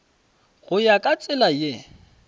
go ya ka tsela ye